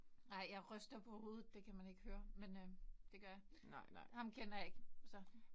Nej jeg ryster på hovedet. Det kan man ikke høre men øh det gør jeg. Ham kender jeg ikke så